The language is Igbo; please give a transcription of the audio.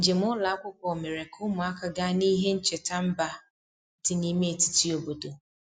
Njem ụlọ akwụkwọ mere ka ụmụaka gaa n'ihe ncheta mba dị n'ime etiti obodo.